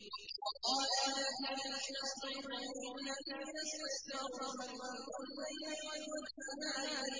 وَقَالَ الَّذِينَ اسْتُضْعِفُوا لِلَّذِينَ اسْتَكْبَرُوا بَلْ مَكْرُ اللَّيْلِ وَالنَّهَارِ